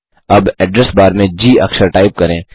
अब address bar में G अक्षर टाइप करें